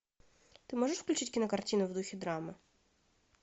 ты можешь включить кинокартину в духе драмы